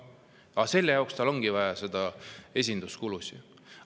Aga selle jaoks ongi tal neid esinduskulusid vaja.